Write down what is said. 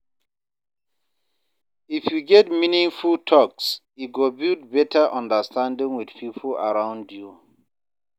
If you get meaningful talks, e go build better understanding with people around you.